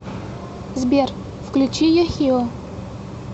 сбер включи йохио